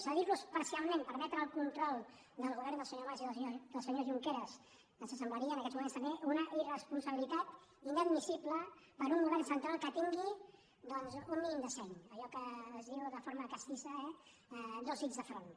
cedir los parcialment permetre el control del govern del senyor mas i del senyor junqueras ens semblaria en aquests moments també una irresponsabilitat inadmissible per un govern central que tingui doncs un mínim de seny allò que es diu de forma castissa eh dos dits de front